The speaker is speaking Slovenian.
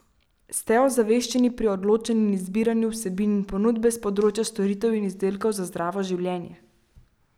Ste ozaveščeni pri odločanju in izbiranju vsebin in ponudbe s področja storitev in izdelkov za zdravo življenje?